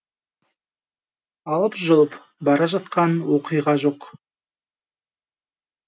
алып жұлып бара жатқан оқиға жоқ